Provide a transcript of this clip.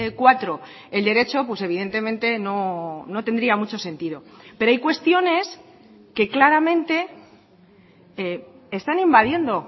cuatro el derecho pues evidentemente no tendría mucho sentido pero hay cuestiones que claramente están invadiendo